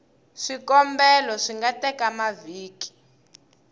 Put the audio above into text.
swikombelo swi nga teka mavhiki